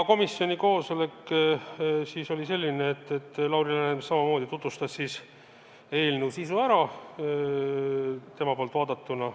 Komisjoni koosolek oli selline, et Lauri Läänemets tutvustas eelnõu sisu enda poolt vaadatuna.